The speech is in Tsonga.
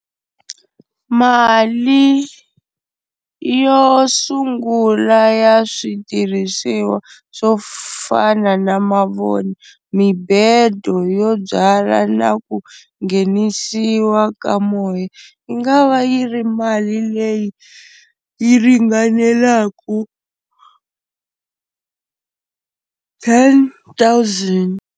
Mali yo sungula ya switirhisiwa swo fana na mavoni, mibedo yo byala na ku nghenisiwa ka moya yi nga va yi ri mali leyi yi ringanelaku ten thousand.